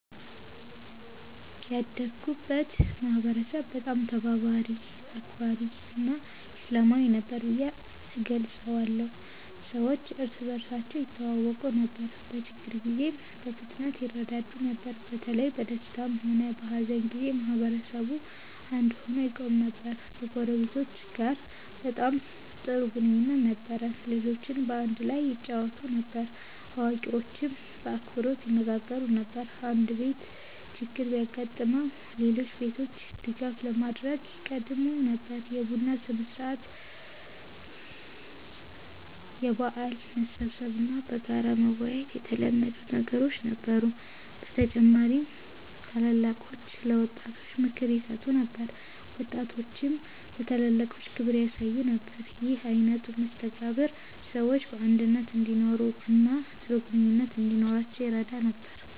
ያደግኩበትን ማህበረሰብ በጣም ተባባሪ፣ አክባሪ እና ሰላማዊ ነበር ብዬ እገልጸዋለሁ። ሰዎች እርስ በርሳቸው ይተዋወቁ ነበር፣ በችግር ጊዜም በፍጥነት ይረዳዱ ነበር። በተለይ በደስታም ሆነ በሀዘን ጊዜ ማህበረሰቡ አንድ ሆኖ ይቆም ነበር። ከጎረቤቶቻችን ጋር በጣም ጥሩ ግንኙነት ነበረን። ልጆች በአንድ ላይ ይጫወቱ ነበር፣ አዋቂዎችም በአክብሮት ይነጋገሩ ነበር። አንድ ቤት ችግር ቢያጋጥመው ሌሎች ቤቶች ድጋፍ ለማድረግ ይቀድሙ ነበር። የቡና ሥነ-ሥርዓት፣ የበዓል መሰብሰብ እና በጋራ መወያየት የተለመዱ ነገሮች ነበሩ። በተጨማሪም ታላላቆች ለወጣቶች ምክር ይሰጡ ነበር፣ ወጣቶችም ለታላላቆች ክብር ያሳዩ ነበር። ይህ አይነት መስተጋብር ሰዎች በአንድነት እንዲኖሩ እና ጥሩ ግንኙነት እንዲኖራቸው ይረዳ ነበር።